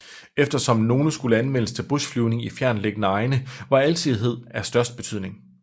Eftersom nogle skulle anvendes til bushflyvning i fjerntliggende egne var alsidighed af største betydning